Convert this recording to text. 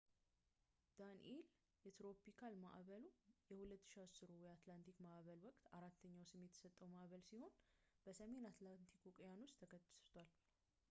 ዳኒኤል የትሮፒካል ማዕበሉ የ2010ሩ የአትላንቲክ ማዕበል ወቅት አራተኛው ስም የተሰጠው ማዕበል ሲሆን በሰሜን አትላንቲክ ውቅያኖስ ተከስቷል